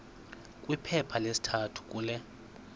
kwiphepha lesithathu kule